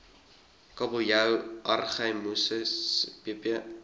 kabeljou argyrosomus spp